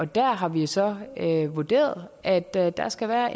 der har vi så vurderet at der der skal være